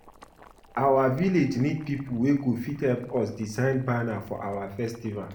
Our village need people wey go fit help us design banner for our festival